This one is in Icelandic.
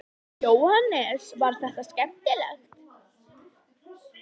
Jóhannes: Var þetta skemmtilegt?